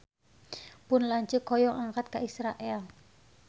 Pun lanceuk hoyong angkat ka Israel